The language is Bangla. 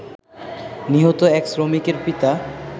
নিহত এক শ্রমিকের পিতা